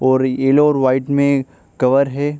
और येलो और व्हाइट में कवर है।